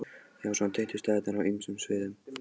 Já, svona tengdust staðirnir á ýmsum sviðum.